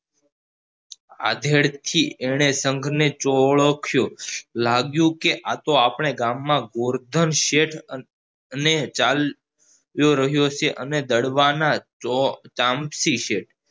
આધેડ થીજ એને સંઘ ને ઓળખ્યો લાગ્યું કે આ તો આપણા ગામમાં ગોવર્ધન શેઠ અને ચાલ ચાલ્યો રહ્યો છે અને દડવાના ચો ચામસી છે